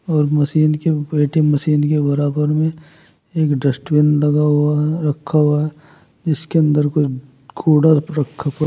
और मशीन के operating machine के बराबर में एक डस्टबिन लगा हुआ है रखा हुआ है जिसके अंदर कुछ कुड़ा रखा पड़ा--